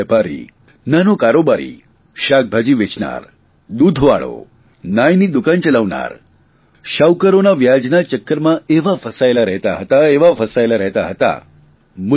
નાનો વેપારી નાનો કારોબારી શાકભાજી વેચનાર દૂધવાળો નાઇની દુકાન ચલાવનાર શાહુકારોના વ્યાજના ચક્કરમાં એવા ફસાયેલા રહેતા હતા એવા ફસાયેલા રહેતા હતા